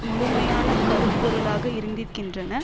முழுமையான கருப்பொருளாக இருந்திருக்கின்றனர்